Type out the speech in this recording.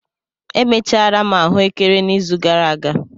Emechara m ahụekere n'izu gara aga.